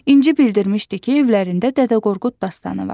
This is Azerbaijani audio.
İnci bildirmişdi ki, evlərində Dədə Qorqud dastanı var.